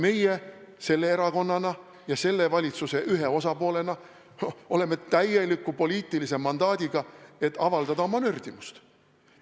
Meie selle erakonnana ja selle valitsuse ühe osapoolena oleme täieliku poliitilise mandaadiga, et avaldada oma nördimust.